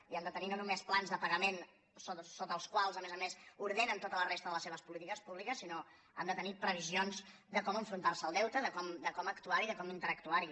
i han de tenir no només plans de pagament sota els quals a més a més ordenen tota la resta de les seves polítiques públiques sinó que han de tenir previsions de com enfrontar se al deute de com actuar hi de com interactuar hi